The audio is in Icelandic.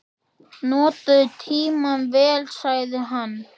Nota tímann vel, sagði hann.